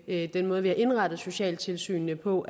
ved den måde vi har indrettet socialtilsynene på